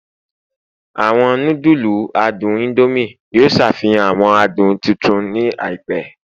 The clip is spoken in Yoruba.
Awọn nudulu adun Indomie yoo ṣafihan awọn adun tuntun ni àìpẹ